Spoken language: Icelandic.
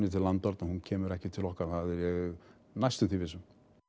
til landvarna hún kemur ekki til okkar það er ég næstum því viss um